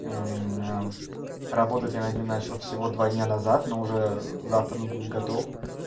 работать я над ним начал всего два дня назад но уже завтра он будет готов